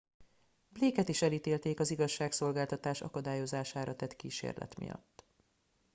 blake et is elítélték az igazságszolgáltatás akadályozására tett kísérlet miatt